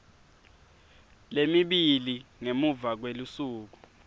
lemibili ngemuva kwelusuku